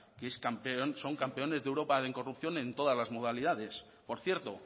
que son campeones de europa en corrupción en todas las modalidades por cierto